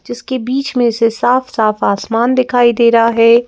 जिसके बीच में से साफ साफ आसमान दिखाई दे रहा है।